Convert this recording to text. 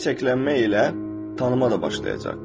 Və bu çiçəklənmə ilə tanımaq da başlayacaq.